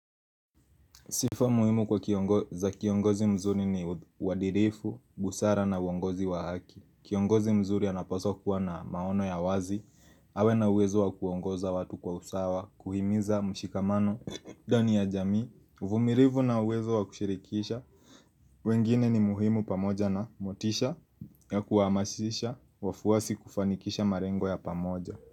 Sifa muhimu za kiongozi mzuri ni uadirifu, busara na uongozi wa haki Kiongozi mzuri anapaswa kuwa na maono ya wazi awe na uwezo wa kuongoza watu kwa usawa, kuhimiza mshikamano ndanii ya jamii, uvumilivu na uwezo wa kushirikisha wengine ni muhimu pamoja na motisha ya kuhamasisha wafuwasi kufanikisha marengo ya pamoja.